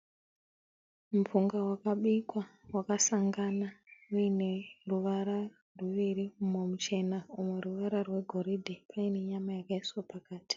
Mupunga wakabikwa wakasangana uyine ruvara ruviri, mumwe muchena umwe ruvara rwegoridhe, paine nyama yakaiswa pakati.